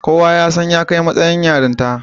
Kuwa sai ya kai matsayin yarinta.